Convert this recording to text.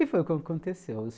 E foi o que aconteceu.